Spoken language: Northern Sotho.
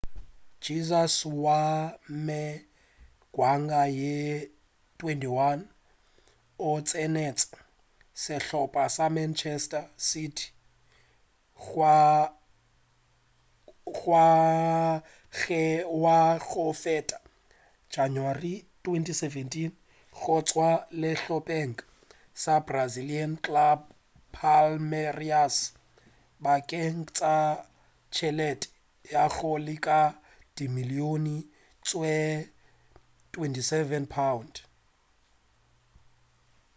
jesus wa mengwaga ye 21 o tsenetše sehlopa sa manchester city ngwageng wa go feta ka janawari 2017 go tšwa sehlopeng sa brazilian club palmeiras bakeng sa tšhelete ya go leka dimilion tšw £27